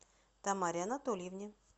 тамаре анатольевне